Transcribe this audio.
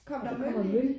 Kom der møl i?